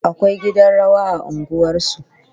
Akwai gidan rawa a unguwar su